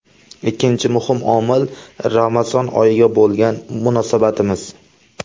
Ikkinchi muhim omil Ramazon oyiga bo‘lgan munosabatimiz.